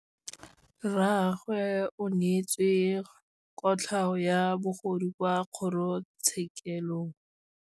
Rragwe o neetswe kotlhaô ya bogodu kwa kgoro tshêkêlông.